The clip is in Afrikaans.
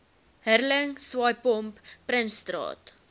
hurling swaaipomp prinsstraat